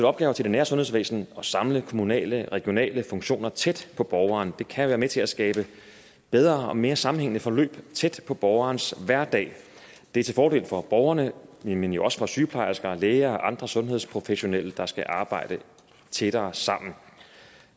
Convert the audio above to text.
opgaver til det nære sundhedsvæsen og samle kommunale og regionale funktioner tæt på borgeren kan være med til at skabe bedre og mere sammenhængende forløb tæt på borgerens hverdag det er til fordel for borgerne men jo også for sygeplejersker og læger og andre sundhedsprofessionelle der skal arbejde tættere sammen i